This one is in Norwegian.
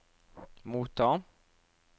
motta